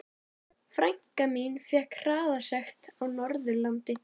Frænka mín fékk hraðasekt á Norðurlandi.